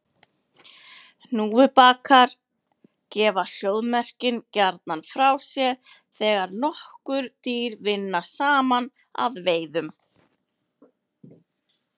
Hnúfubakar gefa hljóðmerkin gjarnan frá sér þegar nokkur dýr vinna saman að veiðunum.